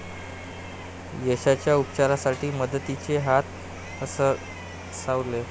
यशच्या उपचारासाठी मदतीचे हात सरसावले